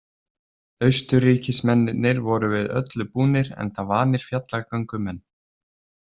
Austurríkismennirnir voru við öllu búnir enda vanir fjallagöngumenn.